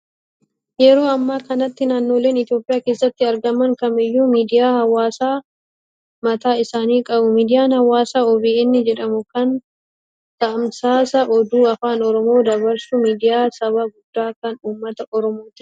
Yeroo ammaa kanatti naannoleen Itoophiyaa keessatti argaman kamiiyyuu miidiyaa Hawaasaa mataa isaanii qabu. Miidiyaan Hawaasaa OBN jedhamu kan tamsaasa oduu afaan Oromoon dabarsu, miidiyaa saba guddaa kan uummata Oromoo ti.